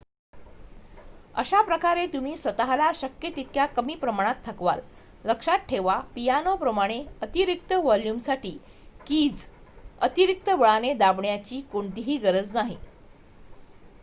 अशाप्रकारे तुम्ही स्वतःला शक्य तितक्या कमी प्रमाणात थकवाल लक्षात ठेवा पियानोप्रमाणे अतिरिक्त वॉल्युमसाठी कीज अतिरिक्त बळाने दाबण्याची कोणतीही गरज नाही